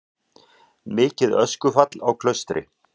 Mikið öskufall á Klaustri